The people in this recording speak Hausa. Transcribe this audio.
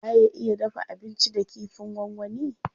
Waye ya iya dafa abinci da kifin gwangwani.